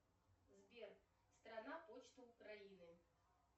сбер страна почты украины